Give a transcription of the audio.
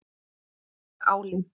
Með áli.